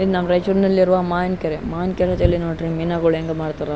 ಇದು ನಮ್ಮ್ ರೈಚೂರ್ ನಲ್ಲಿಇರುವ ಮಾವಿನ ಕೆರೆ ಈ ಮಾವಿನ ಕೆರೆ ಯಲ್ಲಿ ನೋಡ್ರಿ ಮೀನುಗಳು ಎಂಗ ಮಾರ್ತಾರ .